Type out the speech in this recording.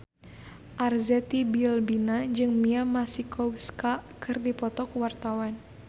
Arzetti Bilbina jeung Mia Masikowska keur dipoto ku wartawan